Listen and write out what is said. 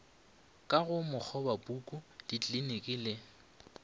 ka go makgobapuku ditliliniki le